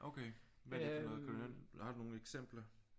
Okay hvad er det for noget har du nogle eksempler